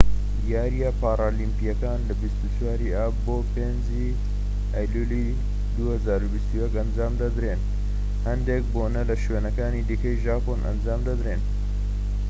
یاریە پارالیمپیەکان لە 24 ی ئاب بۆ 5 ی ئەیلولی 2021 ئەنجام دەدرێن هەندێک بۆنە لە شوێنەکانی دیکەی ژاپۆن ئەنجام دەدرێن